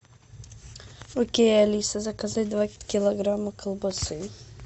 окей алиса заказать два килограмма колбасы